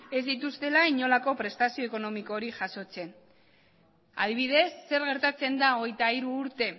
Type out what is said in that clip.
ez dituztela inolako prestazio ekonomikorik jasotzen adibidez zer gertatzen da hogeita hiru urte